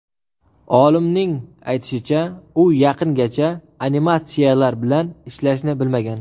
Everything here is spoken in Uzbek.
Olimning aytishicha, u yaqingacha animatsiyalar bilan ishlashni bilmagan.